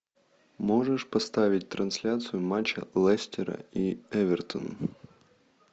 можешь поставить трансляцию матча лестера и эвертона